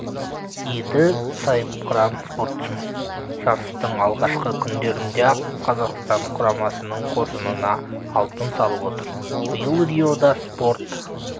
еді сайыпқыран спортшымыз жарыстың алғашқы күндерінде-ақ қазақстан құрамасының қоржынына алтын салып отыр биыл риода спорт